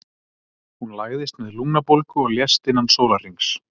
Hún lagðist með lungnabólgu og lést innan sólarhrings.